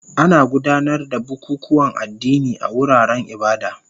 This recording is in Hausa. Ana gudanar da bukukuwan addini a wuraren ibada